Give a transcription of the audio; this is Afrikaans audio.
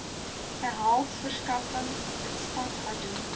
behels verskaffing instandhouding